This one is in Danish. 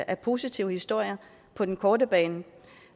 er positive historier på den korte bane